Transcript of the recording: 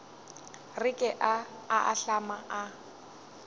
re ke a ahlama a